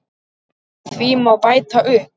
Því má bæta upp